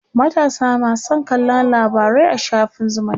matasa ma San kallan labarai a shafin zumunta